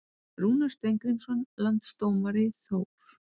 Rúnar Steingrímsson Landsdómari Þór